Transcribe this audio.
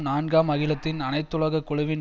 நான்காம் அகிலத்தின் அனைத்துலக குழுவின்